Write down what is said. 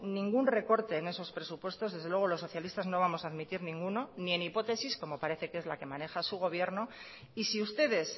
ningún recorte en esos presupuestos desde luego los socialistas no vamos a admitir ninguno ni en hipótesis como parece que es la que maneja su gobierno y si ustedes